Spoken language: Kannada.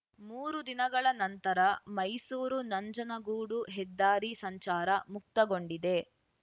ಮೂರು ದಿನಗಳ ನಂತರ ಮೈಸೂರುನಂಜನಗೂಡು ಹೆದ್ದಾರಿ ಸಂಚಾರ ಮುಕ್ತಗೊಂಡಿದೆ